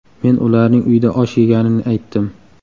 Men ularning uyda osh yeganini aytdim.